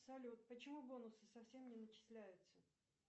салют почему бонусы совсем не начисляются